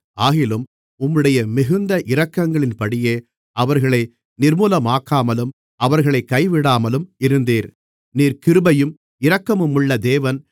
ஆகிலும் உம்முடைய மிகுந்த இரக்கங்களின்படியே அவர்களை நிர்மூலமாக்காமலும் அவர்களைக் கைவிடாமலும் இருந்தீர் நீர் கிருபையும் இரக்கமுமுள்ள தேவன்